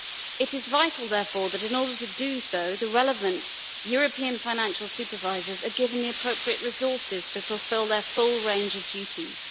It is therefore vital that, in order to do so, the relevant European financial supervisors are given the appropriate resources to fulfil their full range of duties.